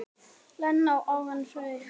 Lena og Árni Freyr.